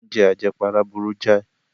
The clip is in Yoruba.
Oúnjẹ àjẹpara burú jáì.